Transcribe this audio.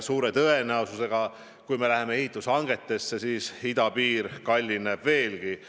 Suure tõenäosusega on nii, et kui me hakkame ehitushankeid välja kuulutama, siis me näeme, et idapiir kallineb veelgi.